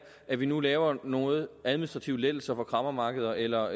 at vi nu laver nogle administrative lettelser for kræmmermarkeder eller